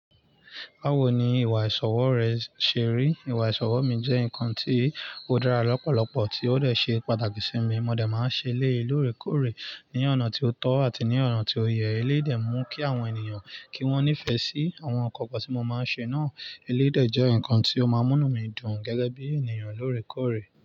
Bawo ni ìwà ìsọwọ́ rẹ ṣe rí? Ìwà ìsọwọ́ mi jẹ́ nǹkan tí ó dára lọ́pọ̀lọpọ̀, tí ó dè ṣe pàtàkì sí mi. Mo dà máa ń ṣe lé lóòrèkóòrè ní ọ̀nà tí ó tọ́ àti ní ọ̀nà tí ó yẹ. Eléyè dẹ̀ mú kí àwọn ènìyàn kí wọ́n nífẹ̀ẹ́ sí àwọn ǹkan kan tí mo máa ń ṣe náà. Eléyè jẹ́ ǹkan tí ó máa ń múnú mi dùn gẹ́gẹ́ bí ènìyàn lóòrèkóòrè.